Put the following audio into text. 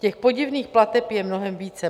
Těch podivných plateb je mnohem více.